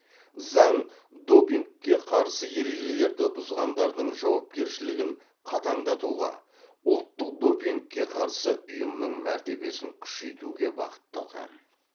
заң допингке қарсы ережелерді бұзғандардың жауапкершілігін қатаңдатуға ұлттық допингке қарсы ұйымның мәртебесін күшейтуге бағытталған